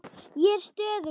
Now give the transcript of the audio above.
Ég er stöðug núna.